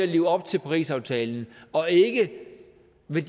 leve op til parisaftalen og ikke